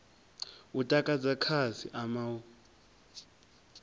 u takadza khasi ama u